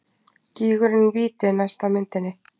Gígurinn Víti næst á myndinni.